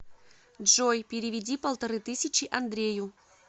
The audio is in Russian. джой переведи полторы тысячи андрею